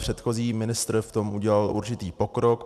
Předchozí ministr v tom udělal určitý pokrok.